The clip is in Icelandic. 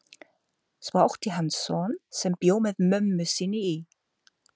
Svo átti hann son sem bjó með mömmu sinni í